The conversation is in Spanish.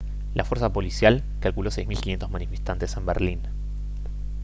la fuerza policial calculó 6500 manifestantes en berlín